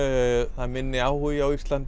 það er minni áhugi á Íslandi